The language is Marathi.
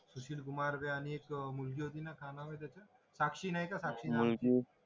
कुमार आणि एक मुलगी होती ना काय नाव त्याचा साक्षी नाय का साक्षी